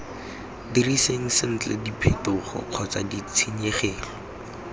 diriseng sentle diphetogo kgotsa ditshenyegelo